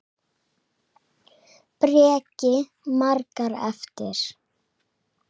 Breki: Margar eftir?